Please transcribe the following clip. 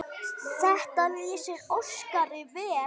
Þetta lýsir Óskari vel.